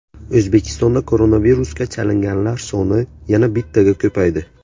O‘zbekistonda koronavirusga chalinganlar soni yana bittaga ko‘paydi.